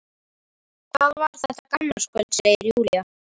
Það var þetta gamlárskvöld, segir Júlía.